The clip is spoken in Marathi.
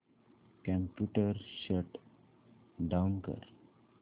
कम्प्युटर शट डाउन कर